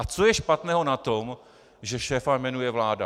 A co je špatného na tom, že šéfa jmenuje vláda?